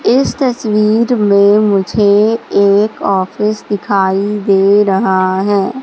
इस तस्वीर में मुझे एक ऑफिस दिखाई दे रहा है।